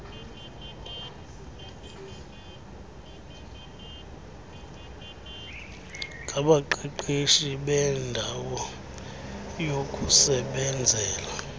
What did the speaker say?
ngabaqeqeshi beendawo yokusebenzela